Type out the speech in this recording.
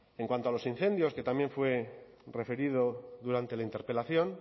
en cuanto a los incendios que también fue referido durante la interpelación